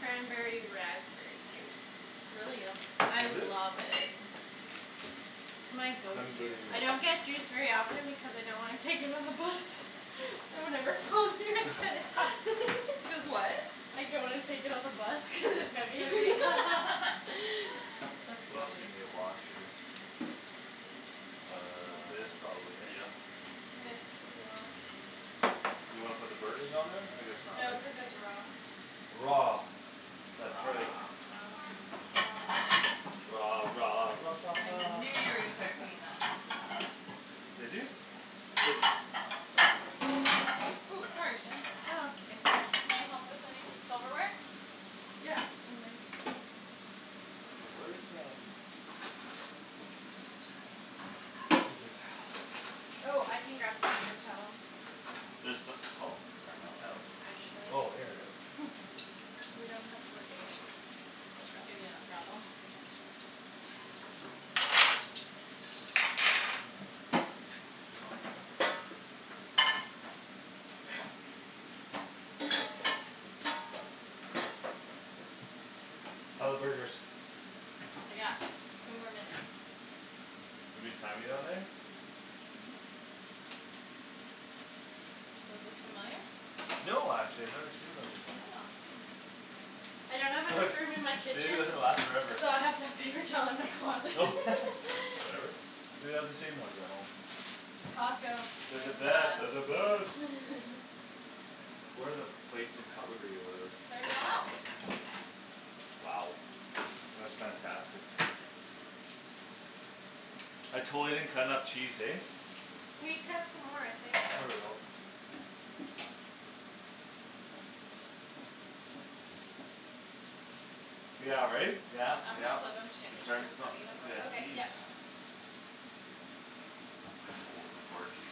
Cranberry raspberry juice. It's really yummy. I Is it? love it. My go to. Cranberry I don't get juice very often because I don't wanna take it on the bus So whenever Paul's here I get it. Cuz what? I don't wanna take it on the bus cuz it's heavy Heavy. That's We also funny. need a wash here. This probably, Uh hey? yep. This could be washed. You wanna put the burgers on there? I guess not, No, eh? cuz it's raw. Raw, that's right. Raw Raw I knew you were gonna start singing that. Did you? Cuz Ooh, sorry, Shan. No, that's okay. Can I help with anythi- silverware? Yeah, in men. Where's um Paper towel? Oh, I can grab some paper towel. There so- oh, ran out? Oh, actually. Oh, here we are. We don't have much. I'll grab you Can you not grab 'em? How're the burgers? They got two more minutes. We've been timing on there? Mhm. Those look familiar? No, actually I've never seen those before. Yeah, hmm, interesting. I don't have enough room in my They kitchen usually last forever. So I have to have paper towel in my closet. Whatever. We have the same ones at home. Costco. They're the They're the best, they're best. the best. Where are the plates and cutlery or whatever? It's already all out. Wow. That's fantastic. I totally didn't cut enough cheese, hey? We cut some more, I think. There we go. Yeah, right? Yeah, I'm gonna yeah. flip 'em, Shandy, It's cuz starting they're to smell starting to burn. I gotta Okay, yep. sneeze. Oh, they're gorgey.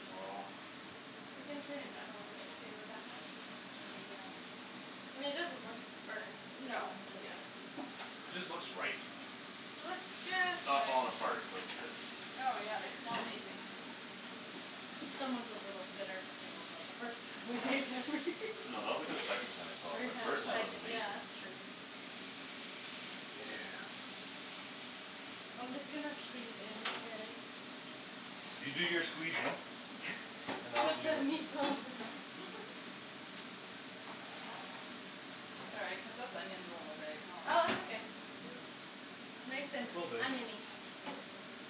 You can turn it down a little bit too, would that help? Maybe, yeah. I mean it doesn't look burnt. No, but they're Yeah Just looks right. It looks It's just not right. falling apart, so it's good. No, yeah, they smell amazing. Someone's a little bitter still about the first time we made them. No, that was, like, the second time it fell apart. First time it First was time Everytime was amazing. Yeah amazing. that's true. Yeah. I'm just gonna squeeze in and You do your squeezing and I'll Put do the meatballs in the Sorry, I cut those onions a little big, huh. Oh it's okay. Yeah. Nice and Little big. onion-y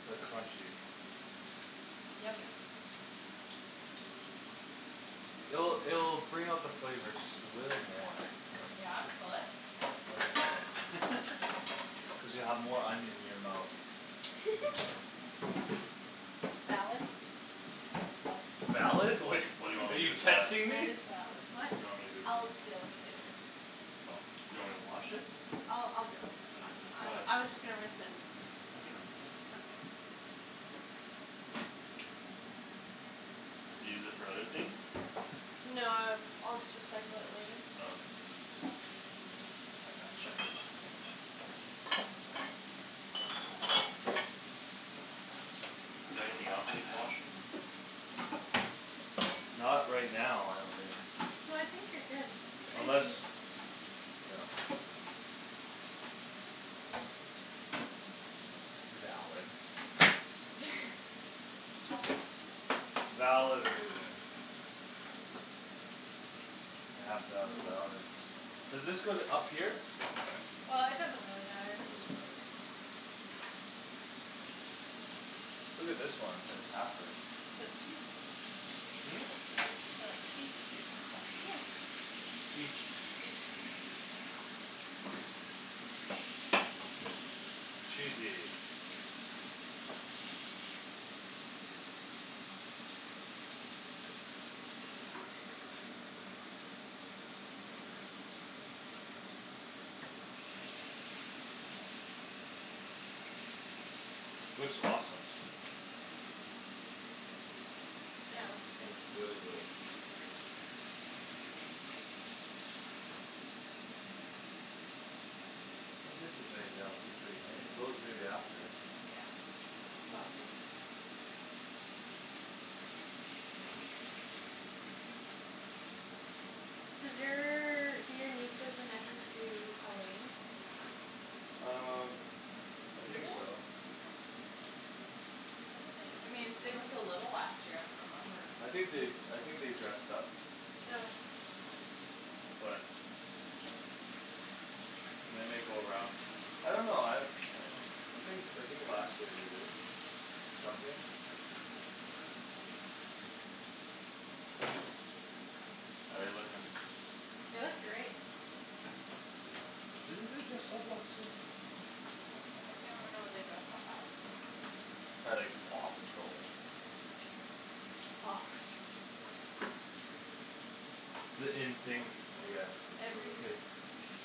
Like crunchy. Yum, yum. It'll, it'll bring out the flavor just a little more. Yeah? Will it? I think it's full. Cuz you have more onion in your mouth. Valid. Valid? Wait, Like, what do you want are me to do you with that? testing That me? is valid. What? What do you want me to do with I'll that? deal with it later. Oh, do you want me to wash it? I'll, I'll deal with it. That's fine. Why? I, I was just gonna rinse it and then I can rinse it. Okay Do you use it for other things? No, uh I'll just recycle it later. Oh. I gotcha. Is there anything else needs washing? Not right now, I don't think. No, I think you're good. K. Thank Unless you. Yeah. Valid. Valid reason. I have to have a valid Does this go th- up here? Uh it doesn't really matter. Look at this one, it's like halfer Put cheese on. Hmm? It's for, like, cheese and stuff. Yeah. Eat. Eat Cheesy. Looks awesome. Yeah, it looks good. Looks very good. I don't think there's anything else to clean, eh? Those maybe after Yeah, it's all good. Does your, do your nieces and nephews do Halloween? Um I Do they? think so. I thought they, I mean, they were so little last year; I don't remember. I think they, I think they dressed up. But And they might go around. I don't know, I Uh I think, I think last year they did it. Something How're they looking? It was great. Didn't they dress up last year? I don't remember. I can't remember what they dressed up as. Probably like Paw Patrol or something. It's the in thing, I guess, with the Every kids.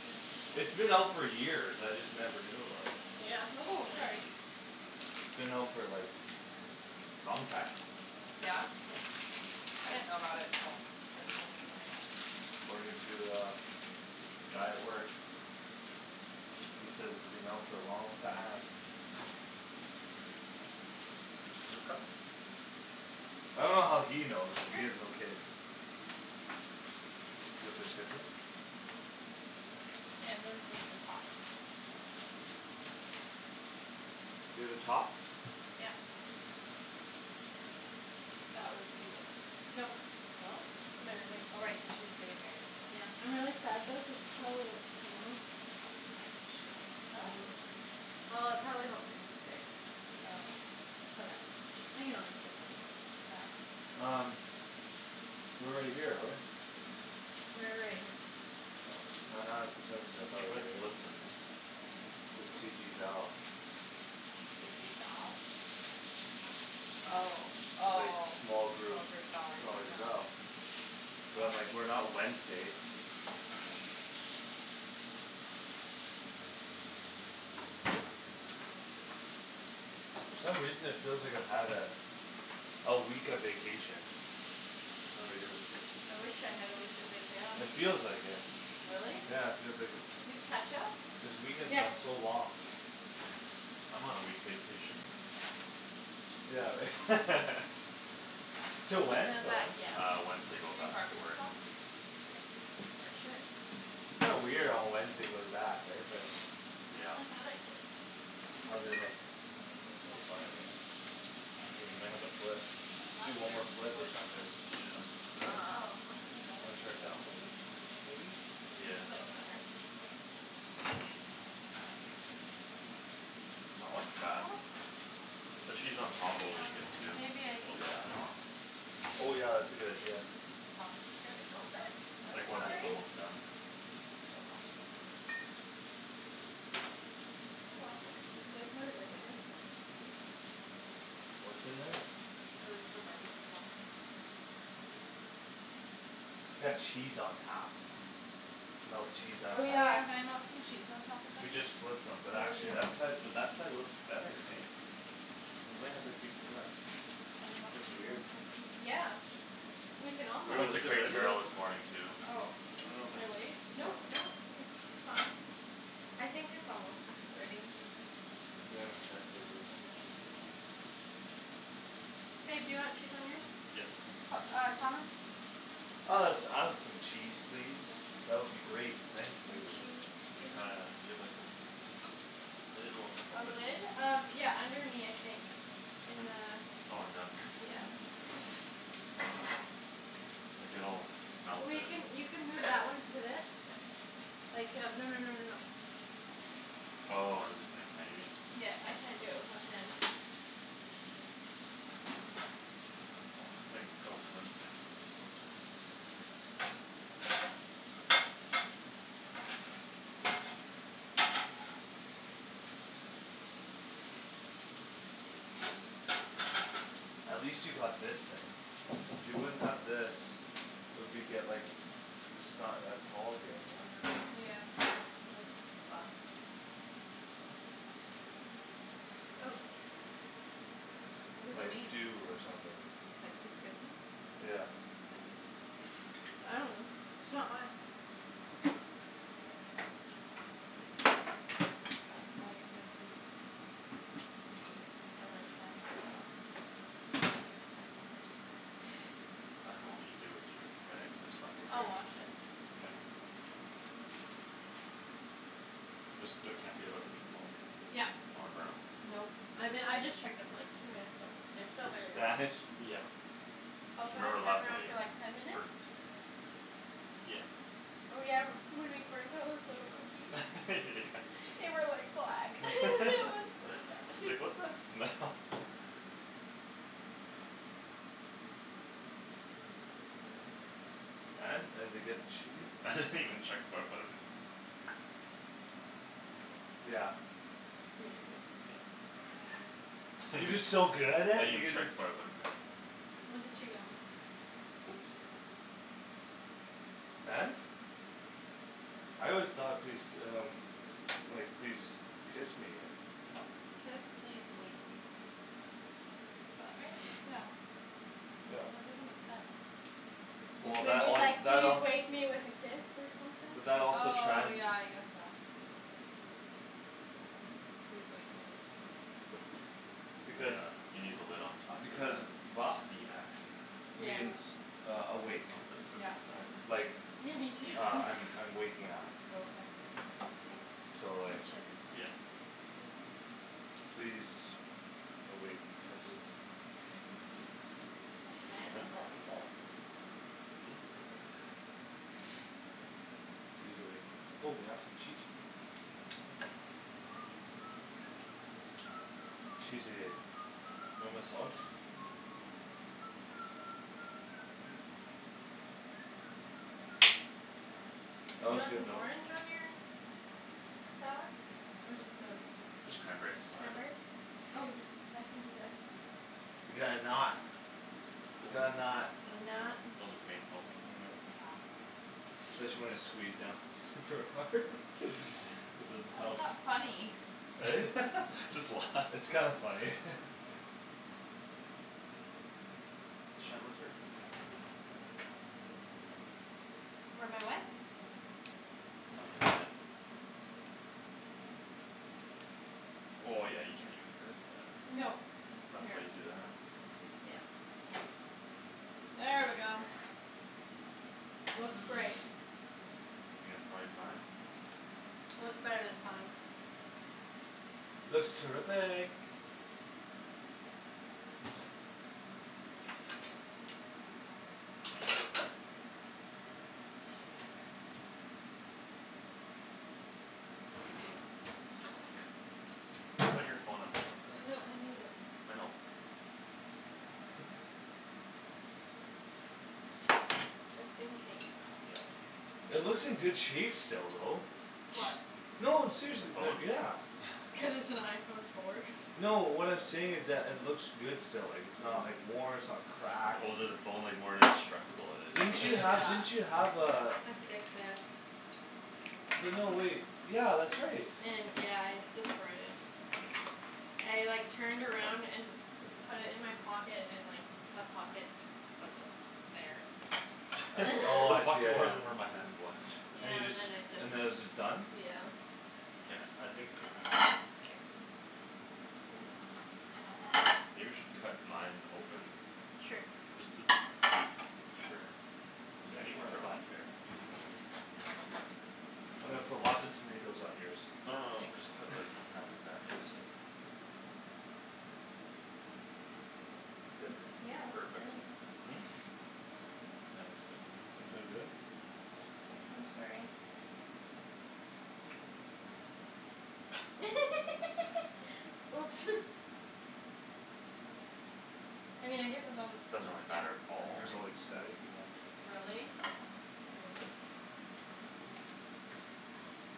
It was just It's like been out for years; I just never knew about it. Yeah Ooh, sorry. It's been out for, like, long time. Yeah? I didn't know about it till Kristen and Marianne. According to, uh, the guy at work. He says it's been out for a long time. I dunno how he knows, cuz Sure. he has no kids. Is that their schedule? Mhm. Shandryn's is the top. You're the top? Yep. That was you though. Nope, No? my roommate. Oh, right, cuz she's getting married too. Yeah, I'm really sad though cuz this probably won't come off. She'll No? well. It probably won't re-stick. Oh. But that's okay. I can always get a new one. Yeah. Um we're right here though, right? We're right here. Oh ha ha, for some reason I thought we Should I were here. flip them in? This K. C G Val. C G Val? Oh, Like oh, small small group, group Valerie, small group Val. no. But I'm like, Might "We're be. not Wednesday." For some reason it feels like I've had a A week of vacation. Kinda weird. I wish I had a week of Yeah, me It vacation. too. feels like it. Really? Yeah, it feels like a Do you have ketchup? This weekend's Yes. gone so long. I'm on a week vacation. Yeah, right? This Till In one? when? the Till back, when? yeah. Uh, Wednesday go Do you back to barbecue work. sauce? Wednesday. Yes, I should. Kinda weird on Wednesday go to back, right? But Yeah. I thought I did. Maybe. How'd they look? Maybe it's They look back fine, there? right? Oh, we may I have to see. flip. Do one more Mustard, do the flip or boys like something. mustard? Eh? Oh, here's You another wanna try to ketchup. download this, maybe? Which Yeah. Yeah. one's newer? Doesn't matter. Uh Not looking I bad. thought I had some The barbecue cheese on sauce. top will be Teriyaki good too. Maybe I It'll Yeah. melt used it it. all. Oh yeah, that's a good idea. Thomas is gonna be so upset. I'm Like once Just it's sorry. kidding. almost done. Oh well. Oh, well. It is what it is, I guess. What's in there? We were looking for barbecue sauce. Got cheese on top. Melt cheese on Oh, Oh, top. yeah, yeah. can I melt some cheese on top of We mine? just flipped them. Oh But we actually that did. side, but that side looks better, hey? We might have to keep, yeah. Can I melt That's cheese weird. on Um mine? yeah, we can all We Well, went to is it Crate and ready yet? Barrel this morning too. Oh, I dunno if we should I should, wait? I Nope, dunno nope, it's fine. I think it's almost ready. We haven't checked it but I think it should be fine. Babe, do you want cheese on yours? Yes. P- uh Thomas? Uh let's add some cheese, please. That would be great, thank Some you. cheese, We kinda, please. do you have like those Lid will A help it. lid? Um, yeah, under me I think. In Un- oh, in down here? the, yeah. Like, it'll melt We it. can, you can move that one to this. Like, yeah, no no no no no. Oh, um the same time, you mean? Yeah, I can't do it with one hand. This thing's so flimsy. That's good. At least you got this thing. If you wouldn't have this It'll be get, like, just not that tall here, you know? Yeah. Yeah. This is fucked. What does it Like mean? dew or something. Like, please kiss me? Yeah. I dunno, it's not mine. I think it says please kiss me. Or like, can I have a kiss? Or something like that. I didn't know what you I dunno. do with your bags. I just left it I'll there. wash it. Okay. Just the, can't be without the meatballs. Yup. Don't wanna burn 'em. Nope, I be- I just checked them, like, two minutes ago. They're still very raw. Spanish? Yeah. I'll put a Remember last timer time on for, like, ten it minutes? burnt. Yeah. Oh, yeah, m- when we burned those little cookies Yeah. They were like black; it was so sad. It's like, "What's that smell?" And? Are they getting cheated? I didn't even check before I put it in. Yeah. Yeah, you're good. I You're didn't just so good at it, you even could, check like before I put 'em in. Look at you go. Oops. And? I always thought please d- um Like, "Please kiss me." Kiss, please, wake. Did spell it right? Yeah. Yeah. That doesn't make sense. Well, It Maybe that would say it's all, like, that "Please all wake me with a kiss" or But something? that also Oh, trans- yeah, I guess so. Like, please wake me with a kiss? Because Yeah, you need the lid on top That makes sense. for Because that steam action. Yeah. means uh awake I hope it's cooked Yeah. inside. Like, Yeah, me too. uh I'm, I'm waking up. Okay. Oops. So It like should be fine. Yep. Please awake kiss Guess it's good. That'd be nice. Huh? I love you. Imperfect. Please awake kiss. Oh we got some cheese here. Cheesy. You want my sauce? That You was want good some though. orange on your salad? Or just the, just Just cranberries is fine. cranberries? Oh, I can do that. We got a knot. We got a knot. A I'm not knot. Wasn't painful. Yeah. Said she wanted to squeeze down. Super hard? It doesn't Why help. is that funny? Eh? Just It's laughs. kinda funny. Where my what? I've been hit. Oh, yeah, you can even girth that. No, That's here, why you do that. yeah. There we go. Looks great. I think that's prolly fine. Looks better than fine. Looks terrific. Put your phone up top there. No, I need it. I know. Just in case. Yeah. It looks in good shape still though. What? No, I'm seriously, The they're, phone? yeah. Cuz it's an iPhone four. No, what I'm saying is that it looks good still, like, it's not, like, worn, it's not cracked The older the phone, like, more indestructible it Didn't is. you have, Yeah. didn't Yeah. you have uh A Six S. But no, wait, yeah, that's right. Yeah, I destroyed it. I, like, turned around and put it in my pocket and, like, the pocket wasn't there. I, oh, The I see, yeah, pocket yeah. wasn't where my hand was. And you Yeah, and just, then it just, and then it was just done? yeah. Yeah, I think K. K. Maybe we should cut mine open. Sure. Just to be s- sure. You got Anywhere, your like, I bun? don't care. I'm gonna put lots of tomatoes on yours. No, no, no, we'll just Thanks. cut it, like, in half like I that, yeah. appreciate it. That feels Good? so good. Yeah, looks great. Perfect. Yeah, that looks good to me. That feel good? Yeah, it feels really I'm good. sorry. Oops. I mean I guess it's on, Doesn't really yeah. matter at Your all. hair's all like staticy now. Really? Great.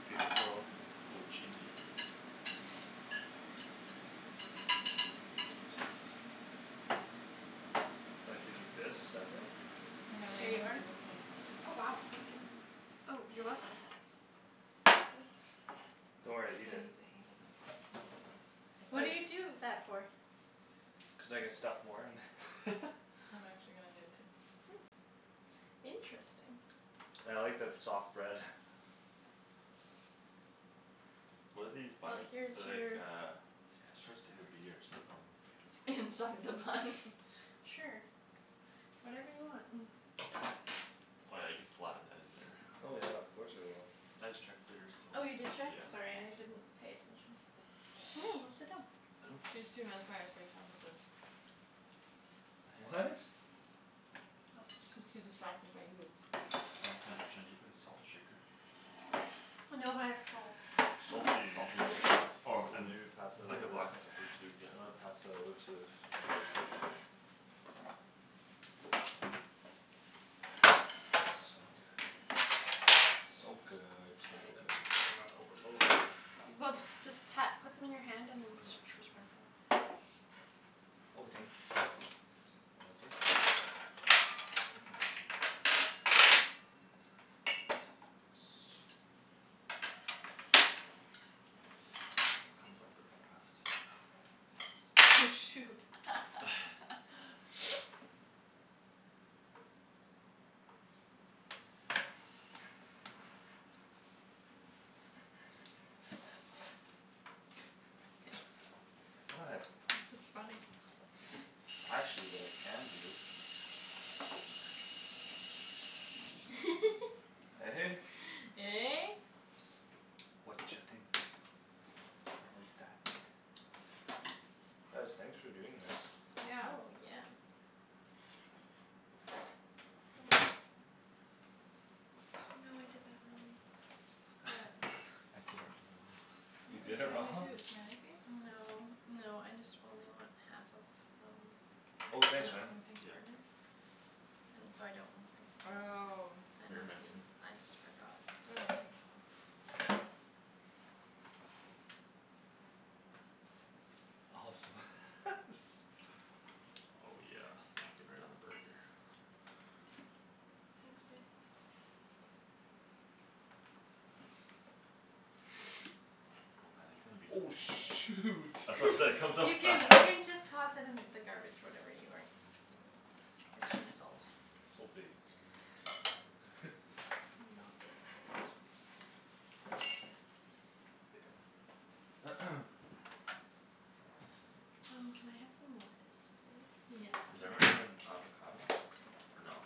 Beautiful. Oh, cheesy. I like to eat this separate. And then Here I'm you gonna are. do the same. Oh wow, thank you. Oh, you're welcome Don't worry, He eat does it. it like What that. do you I Just ignore him. do that for? Cuz I can stuff more in. I'm actually gonna do it too. Interesting. I like the f- soft bread. What are these Well, buns? here's They're like your uh Starts with a B or something. Inside the bun. Sure, whatever you want. Oh, yeah, you could flatten that in there. Oh yeah, of course I will. I just checked theirs so, Oh, you did check? yeah. Sorry, I didn't pay attention. Go sit down. She's too mesmerized by Thomas's. What? She's too distracted by you. Oh, snap, Shan, do you have a salt shaker? No, but I have salt. Salty. Salt containers or I Ooh, mean, maybe pass that like, a over. black pepper tube, You yeah. wanna pass that over to So good, so Oh, good. better not overload it. Well, just pat, put some in your hand and then True. sprinkle it. Oh, thanks. Put it on there. Here comes all the frost. Oh, shoot. What? It's just funny. Actually, what I can do Eh? Eh? Watcha think about that? Guys, thanks for doing this. Yeah. Oh, yeah. Go in. Oh no, I did that wrong. What? I did it You What were you did it wrong. trying wrong? to do, a smiley face? No, no, I just only want half of some. Oh An thanks, man. open face Yeah. burger? And so I don't want this. Oh And Here, then just, Megan. I just forgot. Oh, thanks, Paul. I hope Awesome. so. Oh, yeah, melt it right on the burger. Thanks, babe. Oh, man, there's gonna be Oh, some shoot. That's what I'm saying, comes off You fast. can, you can just toss it in the garbage whatever you aren't using. It's just salt. Salty. Not the end of the world. Um, can I have some lettuce, please? Yes. Is everyone having avocado? Or no?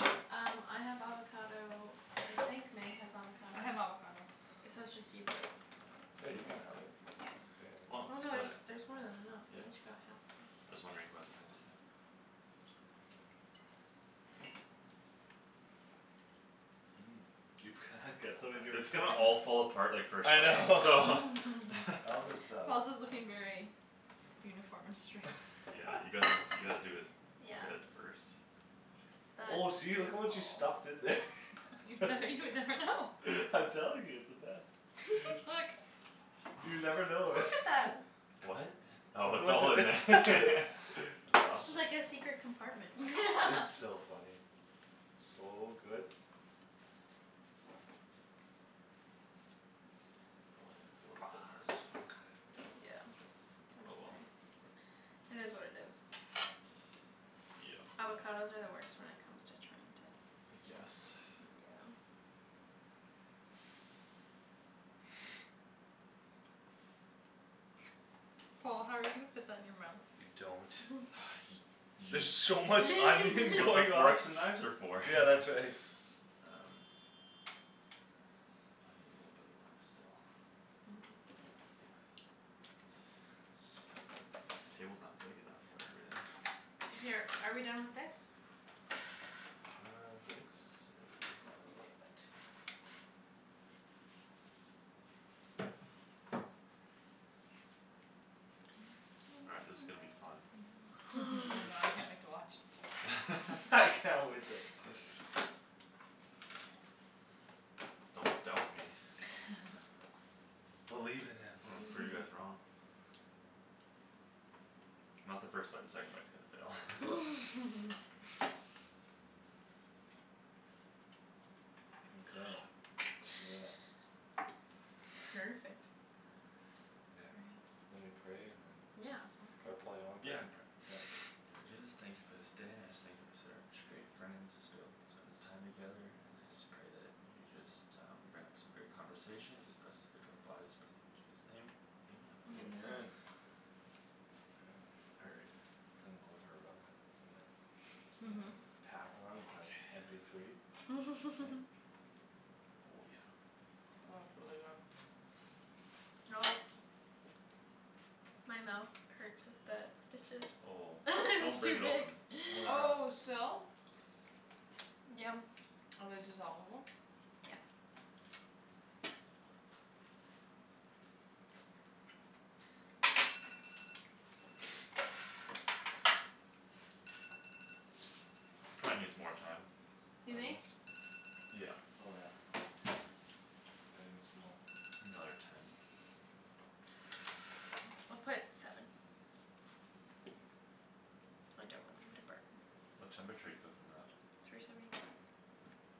No? Um, I have avocado. I think Meg has avocado. I have avocado. It's, so it's just you boys. Yeah, you can have it. I don't Why care. Oh not no, split there's, it? there's more than enough Yeah. we each got half though. Just wondering who hasn't had it yet. You It's gonna all fall apart, like, first I bite, so. know. I'll just um Paul's is looking very uniform and straight. Yeah, you gotta, you gotta do it Yeah. good at first. Oh, That see, look at is what you Paul. stuffed in there. Now you would never know. I'm telling you, it's the best. You never know. Look at that. What? Look Oh it's at all in there. what ju- That's awesome. It's like a secret compartment. It's so funny. So good. Oh, yeah, it's a little bit hard still. Yeah, that's Oh, well. okay. It is what it is. Yeah. Avocados are the worst when it comes to trying to I guess. Yeah. Paul, how are you gonna fit that in your mouth? You You don't. don't. Y- You There's so much It's onion what the going on. forks and knives are for. Yeah, that's right. Um I need a little bit of that still. Thanks. This table's not big enough for everything. Here, are we done with this? I think so. Let me move it. All right, this is gonna be fun. Oh god, I can't wait to watch. I can't wait to Don't doubt me. Believe in him. I'm gonna prove you guys wrong. Not the first bite. The second bite's gonna Yeah. fail. Okay, yeah. Perfect. Perfect. Yeah, Right. are we praying and Yeah, Yeah, sounds Or great. sounds good. Paul, you wanna Yeah, pray? I can pray. K. Lord Jesus, thank you for this day, I just thank you for such great friends just Being able to spend this time together and I just pray that You just um bring up some great conversation just best fit to our bodies. Pray in Jesus' name, amen. Amen. Amen. Amen. All right. Feel like going for a run With my, you know? Pack on with my M Okay. P three. Oh, yeah. Oh, it's really good. Oh. My mouth hurts with the stitches. Oh, don't It's break too it big. open. Oh Oh, yeah. still? Yum. Are they dissolve-able? Yeah. Probably needs more time, You I think? guess. Yeah. Oh, yeah. I didn't steal one. Another ten. I'll put seven. I don't want them to burn. What temperature you cook 'em at? Three seventy five.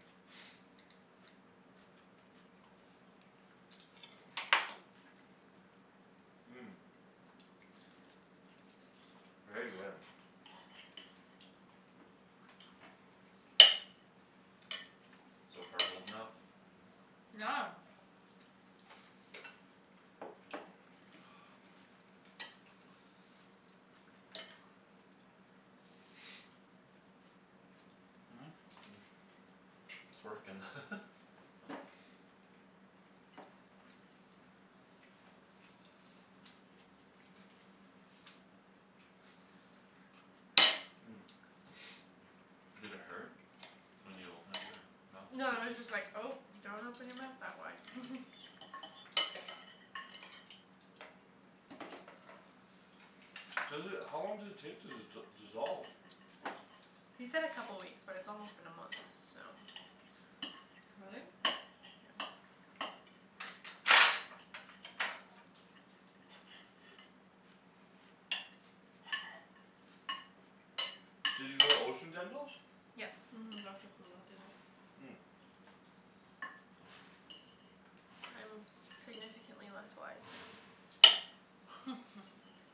Very good. So far holding up. Yeah. It's working. Did it hurt when you opened up your mouth? No, it The was stitches? just like, "Oh, don't open your mouth that wide." Seriously, how long does it take to d- dissolve? He said a couple weeks but it's almost been a month, so Really? Did you go to Ocean Dental? Yep. Mhm, Doctor Poola did it. I'm significantly less wise now.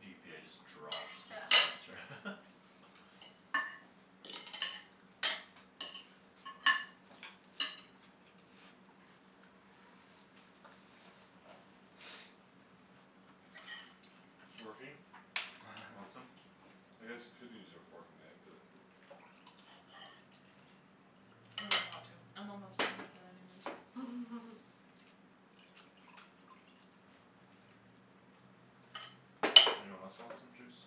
GPA just drops next Yeah. semester. It working? Want some? I guess you could use your fork and knife but I don't really want to. I'm almost done with that anyways. Anyone else want some juice?